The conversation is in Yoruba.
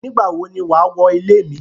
Nígbà wón ní wà wọ ilẹ̀ mi?